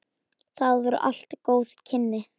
Það voru allt góð kynni.